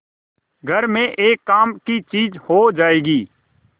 घर में एक काम की चीज हो जाएगी